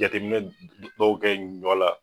Jateminɛ baw kɛ ɲɔ la